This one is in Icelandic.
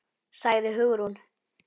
sagði Hugrún.